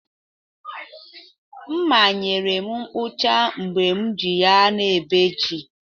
Mma nyere m mkpụcha mgbe m ji ya na ebe ji.